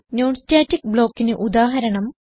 non static blockന് ഉദാഹരണം